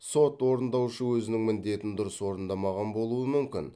сот орындаушы өзінің міндетін дұрыс орындамаған болуы мүмкін